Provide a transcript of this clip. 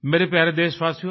मेरे प्यारे देशवासियो